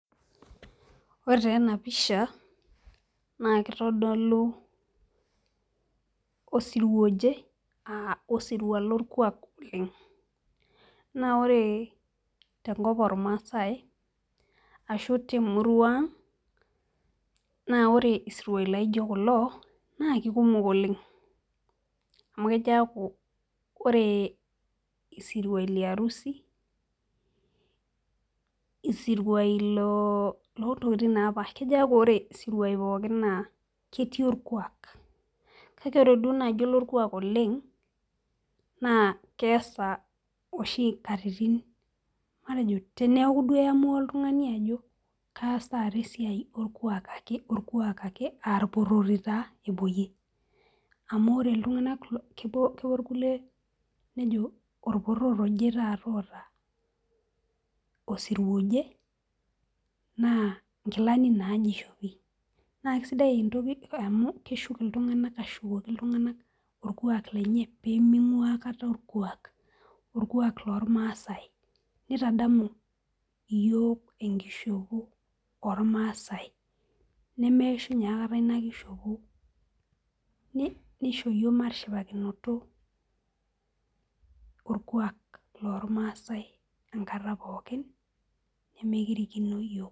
Ore taa ena pisha naa kitodolu osirua oje, aa osirua lorkuaak oleng. naa ore tenakop oormaasae ashu temurua ang.na ore isiruai laijo kulo naa kikumok oleng. amu kejo aaku ore isiruai liarusi, isiruai loo ntokitin napaasha. kejo aaku ore siruai pookin naa ketii olkuaak. kake ore naaji olorkuaak oleng. naa keesa oshi nkatitin. matejo teneku duo eyamua oltungani ajo kaas taata esiai olkuaak ake olkuuaka ake aa irporori taa. epuoyie. amu ore iltunganak kepuo irkulie nejo. orporor oje taata oota. osirua oje naa nkilani naaje ishopi. naa kisidai entoki amu keshul iltunganak ashukoki iltunganak. orkuaak lenye pee ning'uaa aikata orkuaak. orkuaam loormaasae. nitadamu iyiook enkishopo oormaasae. neme ishunye aikata Ina kishopo. nisho iyiook matishipakinoto. orkuaak loormaasae enkata pookin. nemekirikno iyiook.